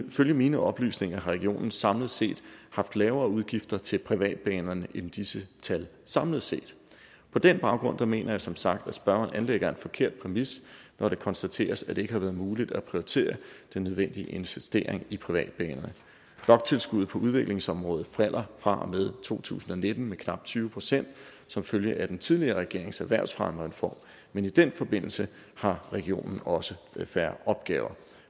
ifølge mine oplysninger har regionen samlet set haft lavere udgifter til privatbanerne end disse tal samlet set på den baggrund mener jeg som sagt at spørgeren anlægger en forkert præmis når det konstateres at det ikke har været muligt at prioritere den nødvendige investering i privatbanerne bloktilskuddet på udviklingsområdet falder fra og med to tusind og nitten med knap tyve procent som følge af den tidligere regerings erhvervsfremmereform men i den forbindelse har regionen også færre opgaver